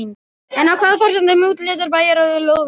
En á hvaða forsendum úthlutar bæjarráð lóðunum?